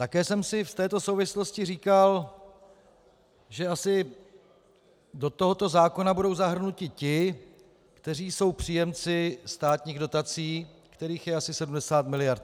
Také jsem si v této souvislosti říkal, že asi do tohoto zákona budou zahrnuti ti, kteří jsou příjemci státních dotací, kterých je asi 70 miliard.